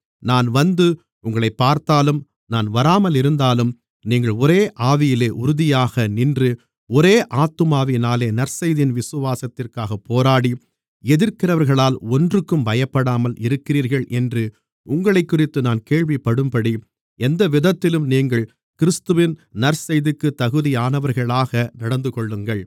நான் வந்து உங்களைப் பார்த்தாலும் நான் வராமலிருந்தாலும் நீங்கள் ஒரே ஆவியிலே உறுதியாக நின்று ஒரே ஆத்துமாவினாலே நற்செய்தியின் விசுவாசத்திற்காகப் போராடி எதிர்க்கிறவர்களால் ஒன்றுக்கும் பயப்படாமல் இருக்கிறீர்கள் என்று உங்களைக்குறித்து நான் கேள்விப்படும்படி எந்தவிதத்திலும் நீங்கள் கிறிஸ்துவின் நற்செய்திற்குத் தகுதியானவர்களாக நடந்துகொள்ளுங்கள்